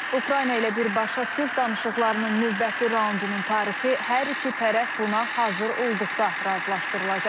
Ukrayna ilə birbaşa sülh danışıqlarının növbəti raundunun tarixi hər iki tərəf buna hazır olduqda razılaşdırılacaq.